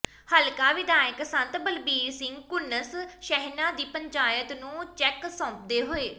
ਹਲਕਾ ਵਿਧਾਇਕ ਸੰਤ ਬਲਬੀਰ ਸਿੰਘ ਘੁੰਨਸ ਸ਼ਹਿਣਾ ਦੀ ਪੰਚਾਇਤ ਨੂੰ ਚੈੱਕ ਸੌਂਪਦੇ ਹੋਏ